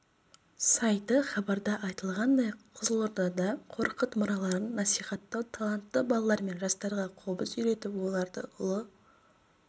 сайты хабарда айтылғандай қызылордада қорқыт мұраларын насихаттау талантты балалар мен жастарға қобыз үйретіп оларды ұлы